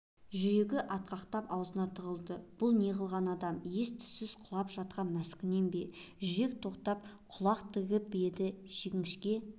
жүрегі атқақтап аузына тығылды бұл неғылған адам ес-түссіз құлап жатқан маскүнем бе жүрек тоқтатып құлақ тігіп еді жіңішке